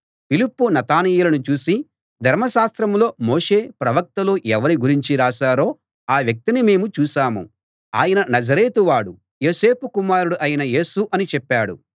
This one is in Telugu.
ఫిలిప్పు నతనయేలును చూసి ధర్మశాస్త్రంలో మోషే ప్రవక్తలూ ఎవరి గురించి రాశారో ఆ వ్యక్తిని మేము చూశాం ఆయన నజరేతు వాడూ యోసేపు కుమారుడూ అయిన యేసు అని చెప్పాడు